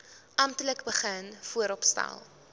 amptelik begin vooropstel